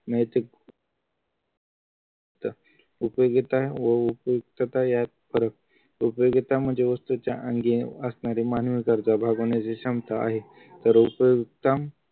नैतिक ता उपयोगिता आणि उपयुक्तता यात फरक उपयोगिता म्हणजे वस्तूच्या अंगी असणारी मानवी गरजा भागवण्याची क्षमता आहे तर उपयुक्तम